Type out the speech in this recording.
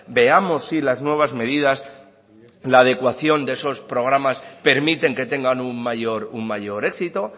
veamos si las nuevas medidas la adecuación de esos programas permiten que tengan un mayor éxito